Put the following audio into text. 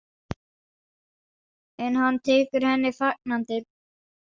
En hann tekur henni fagnandi.